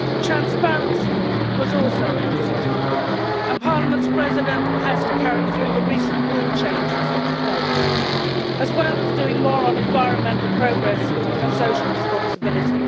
Transparency was also an issue, and Parliament's President has to carry through the recent rule changes that we have made, as well as doing more on environmental progress and social responsibility.